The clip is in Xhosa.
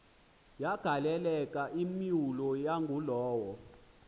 yagaleleka imyula yangulowo